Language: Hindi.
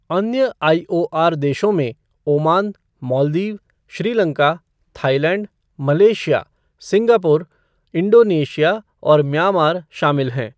अन्य आईओआर देशों में Oman, Maldives, Sri Lanka, Thailand, Malaysia, Singapore, Indonesia और म्यांमार शामिल है।